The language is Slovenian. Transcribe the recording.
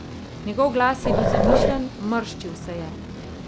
Njegov glas je bil zamišljen, mrščil se je.